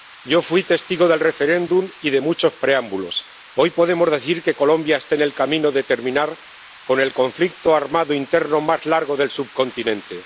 Yo fui testigo del referéndum y de muchos preámbulos. Hoy podemos decir que Colombia está en el camino de terminar con el conflicto armado interno más largo del subcontinente.